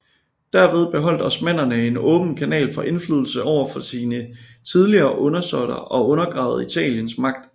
Derved beholdt osmannerne en åben kanal for indflydelse over sine tidligere undersåtter og undergravede Italiens magt